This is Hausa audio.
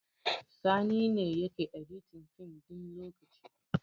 Sani ne yake editin fim ɗin lokaci